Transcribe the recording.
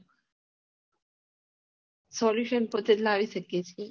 solution પરતું લાવી શકીએ છીએ